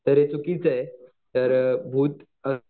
तर हे चुकीचं आहे तर भूत अ